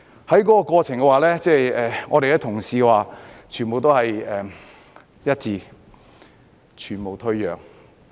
在過程中，我們的同事團結一致，全無退讓。